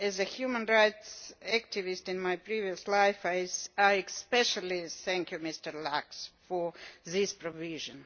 As a human rights activist in my previous life I especially thank Mr Lax for this provision.